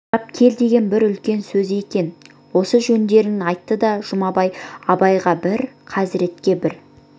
сұрап кел деген бір үлкен сөзі екен осы жөндерін айтты да жұмабай абайға бір хазіретке бір